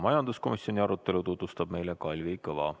Majanduskomisjoni arutelu tutvustab meile Kalvi Kõva.